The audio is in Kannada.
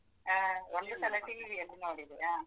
ಹಾ ಒಂದು ಸಲ TV ಅಲ್ಲೀ ನೋಡಿದೆ.